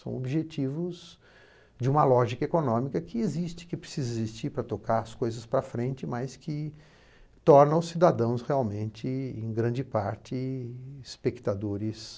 São objetivos de uma lógica econômica que existe, que precisa existir para tocar as coisas para frente, mas que tornam os cidadãos realmente, em grande parte, espectadores